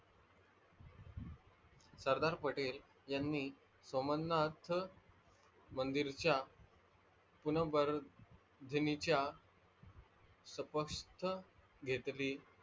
सरदार पटेल यांनी सोमनाथ मंदिरच्या पूर्ण वर्धिनिच्या तपक्ष घेतली.